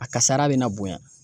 A kasara be na bonya.